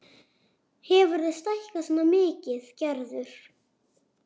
Hefurðu stækkað svona mikið, Gerður?